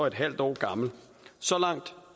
en halv år gammel så langt